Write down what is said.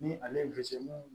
Ni ale ye